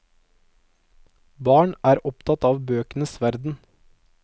Barn er opptatt av bøkenes verden.